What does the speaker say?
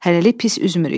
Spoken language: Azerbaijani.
Hələlik pis üzmürük.